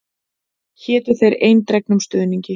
Hétu þér eindregnum stuðningi.